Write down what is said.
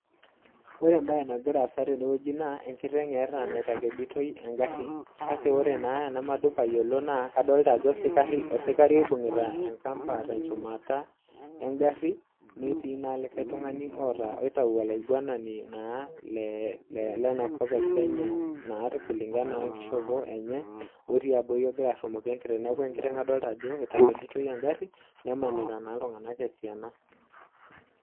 Ore embae nagira assa teneweji naa enkiteng etaae naitakeditoi engari, kake wore enamadup ayiolo naa kadolita ajo osikari oibungita enkamba tenchumata engari netii likae tungani otaa oitayu ollaingwanani naa oitayu olenakop ee Kenya naa (kulingana) wenkishopo enye otii abori ogira arumoki enkiteng neeku enkiteng adolita ajo eitakeditoi engari nebungita intunganak esiana